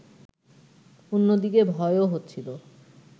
অন্যদিকে ভয়ও হচ্ছিল